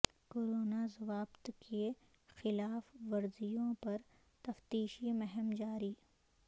corona ضوابط کی خلاف ورزیوں پر تفتیشی مہم جاری